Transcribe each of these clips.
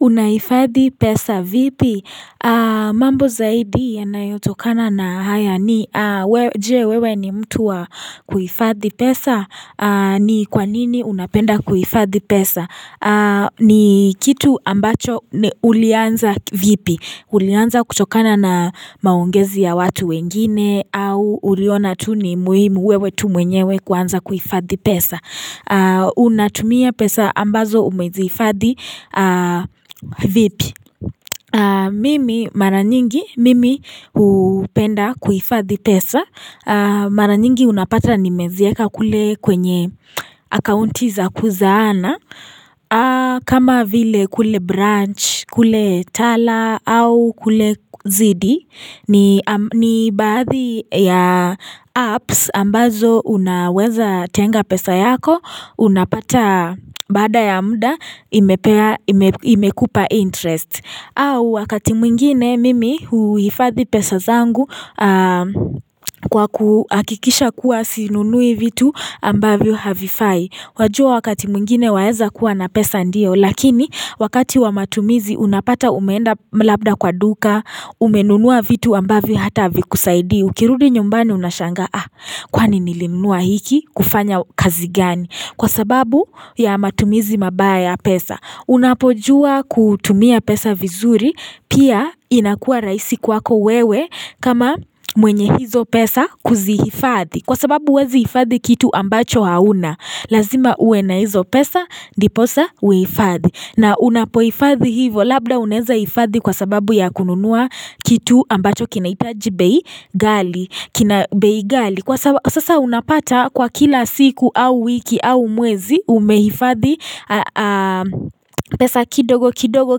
Unaifadhi pesa vipi? Mambo zaidi yanayotokana na haya ni je wewe ni mtu wa kuhifadhi pesa? Ni kwa nini unapenda kuhifadhi pesa? Ni kitu ambacho ulianza vipi? Ulianza kutokana na maongezi ya watu wengine au uliona tu ni muhimu wewe tu mwenyewe kuanza kuifadhi pesa Unatumia pesa ambazo umeziifadhi vipi. Mimi mara nyingi, mimi hupenda kuifadhi pesa Mara nyingi unapata nimezieka kule kwenye akaunti za kuzaana kama vile kule branch, kule tala au kule zidi ni baadhi ya apps ambazo unaweza tenga pesa yako. Unapata baada ya muda imekupa interest. Au wakati mwingine mimi huifadhi pesa zangu Kwa kuhakikisha kuwa sinunui vitu ambavyo havifai. Wajua wakati mwingine waeza kuwa na pesa ndio Lakini wakati wa matumizi unapata umeenda labda kwa duka, Umenunua vitu ambavyo hata haviikusaidii Ukirudi nyumbani unashangaa Kwani nilinunua hiki kufanya kazi gani Kwa sababu ya matumizi mabaya ya pesa. Unapojua kutumia pesa vizuri Pia inakua rahisi kwako wewe kama mwenye hizo pesa kuziifadhi Kwa sababu huwezi ifadhi kitu ambacho hauna Lazima uwe na hizo pesa ndiposa uifadhi. Na unapoifadhi hivo Labda unaeza ifadhi kwa sababu ya kununua kitu ambacho kinahitaji bei ghali ghali Kwa sasa unapata kwa kila siku au wiki au mwwezi Umehifadhi pesa kidogo kidogo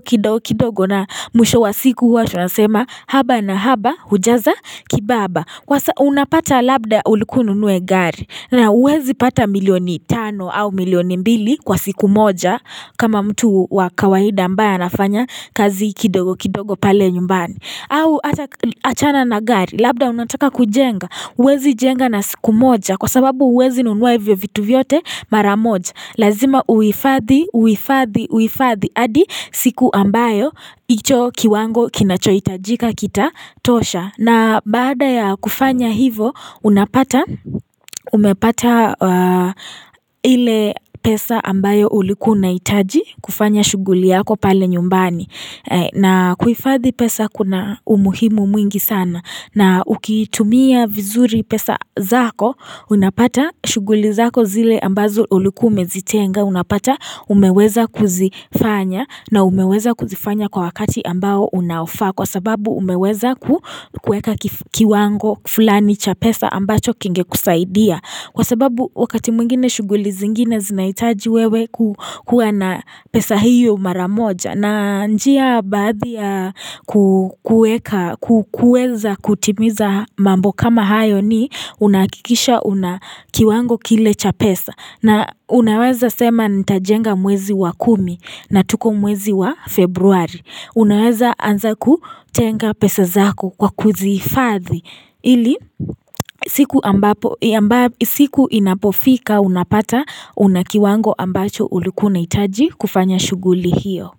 kidogo kidogo na mwisho wa siku huwa tunasema Haba na haba hujaza kibaba. Kwa sasa unapata labda ulikuwa ununue gari na huwezi pata milioni tano au milioni mbili kwa siku moja kama mtu wa kawaida ambaye anafanya kazi kidogo kidogo pale nyumbani au hata achana na gari Labda unataka kujenga huwezi jenga na siku moja Kwa sababu huwezi nunua hivyo vitu vyote mara moja Lazima uifadhi uifadhi uifadhi Adi siku ambayo hicho kiwango kinachohitajika kitatosha na baada ya kufanya hivo unapata umepata ile pesa ambayo ulikuwa unahitaji kufanya shughuli yako pale nyumbani na kuifadhi pesa kuna umuhimu mwingi sana na ukitumia vizuri pesa zako unapata shughuli zako zile ambazo ulikuwa umezitenga unapata umeweza kuzifanya na umeweza kuzifanya kwa wakati ambao unaofaa Kwa sababu umeweza ku kueka kiwango fulani cha pesa ambacho kinge kusaidia Kwa sababu wakati mwingine shughuli zingine zinahitaji wewe kukua na pesa hiyo mara moja. Na njia baadhi ya kueka kuweza kutimiza mambo kama hayo ni unahakikisha una kiwango kile cha pesa. Na unaweza sema nitajenga mwezi wa kumi na tuko mwezi wa februari Unaweza anza kutenga pesa zako kwa kuziifadhi ili siku ambapo siku inapofika unapata una kiwango ambacho ulikuwa unahitaji kufanya shuguli hiyo.